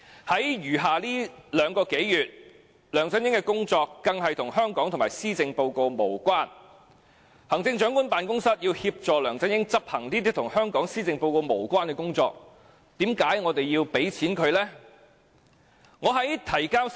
在餘下的兩個多月，梁振英的工作更與香港及施政報告無關，行政長官辦公室要協助梁振英執行這些與香港施政報告無關的工作，為何我們要撥款給他呢？